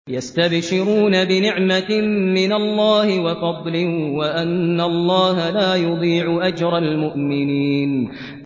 ۞ يَسْتَبْشِرُونَ بِنِعْمَةٍ مِّنَ اللَّهِ وَفَضْلٍ وَأَنَّ اللَّهَ لَا يُضِيعُ أَجْرَ الْمُؤْمِنِينَ